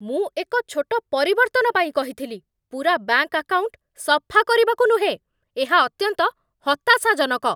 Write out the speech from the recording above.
ମୁଁ ଏକ ଛୋଟ ପରିବର୍ତ୍ତନ ପାଇଁ କହିଥିଲି, ପୂରା ବ୍ୟାଙ୍କ ଆକାଉଣ୍ଟ ସଫା କରିବାକୁ ନୁହେଁ! ଏହା ଅତ୍ୟନ୍ତ ହତାଶାଜନକ।